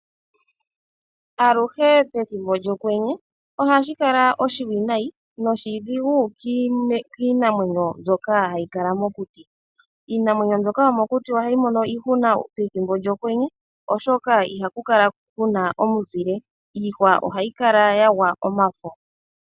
Aluhe pethimbo lyokwenye ohashi kala oshipu nayi noshipu kiinamwenyo mbyono hayikala mokuti. Iinamwenyo mbyoka yomokuti ohayi mono iihuna pethimbo lyokwenye oshoka ihaku kala kuna omunzile iihwa ohayi kala yagwa omafo.